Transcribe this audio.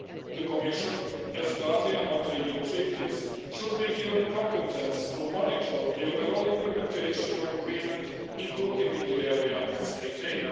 The Commission, as guardian of the EU treaties, should be given competence to monitor the overall implementation of the agreement, including in the area of state aid.